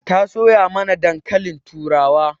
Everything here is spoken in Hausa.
Ta soya mana dankalin turawa.